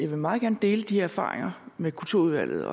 vil meget gerne dele de erfaringer med kulturudvalget